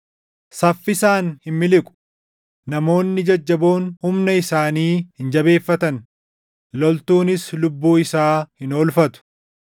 Saffisaan hin miliqu; namoonni jajjaboon humna isaanii hin jabeeffatan; loltuunis lubbuu isaa hin oolfatu.